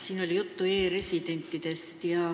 Siin oli juttu e-residentidest.